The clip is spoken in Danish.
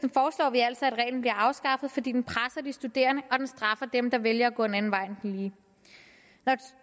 vi altså at reglen bliver afskaffet fordi den presser de studerende og den straffer dem der vælger at gå en anden vej end den lige